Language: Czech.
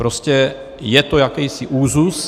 Prostě je to jakýsi úzus.